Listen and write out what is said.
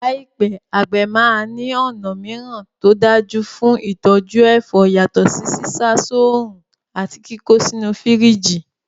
Láìpẹ́, àgbẹ̀ máa ní ọ̀nà mìíràn tó dájú fún ìtọ́jú ẹ̀fọ́ yàtọ̀ sí sísá soòrùn àti kíkó sínú fírìjì.